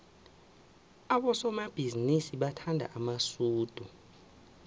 abosomabhizinisi bathanda amasudu